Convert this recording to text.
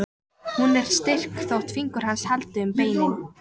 Hún er styrk þótt fingur hans haldi um beinin.